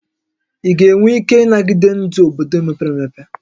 Ị ga-enwe ike ịnagide ndụ obodo mepere emepe?